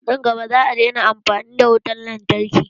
Nan gaba, za a daina amfani da wutan lantarki.